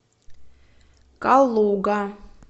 калуга